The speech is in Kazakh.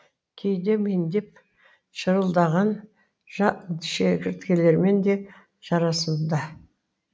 кейде мендеп шырылдаған шегірткелермен де жарасымды